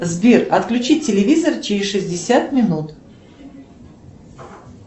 сбер отключить телевизор через шестьдесят минут